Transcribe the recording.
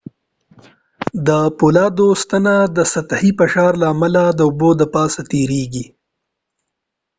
د فولادو ستنه د سطحي فشار له امله د اوبو د پاسه تيريږي